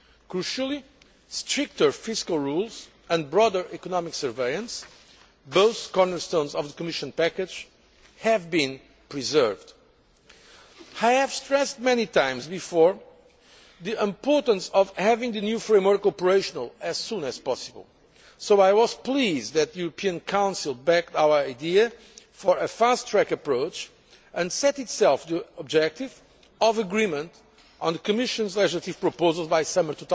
Crucially, stricter fiscal rules and broader economic surveillance both cornerstones of the Commission package have been preserved. I have stressed many times before the importance of having the new framework operational as soon as possible, so I was pleased that the European Council backed our idea for a fast track' approach, and set itself the objective of agreement on the Commission's legislative proposals by summer